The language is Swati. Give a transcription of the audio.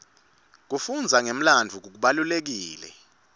kufundza ngemlandvo kubalulekile